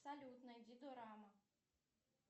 салют найди дорама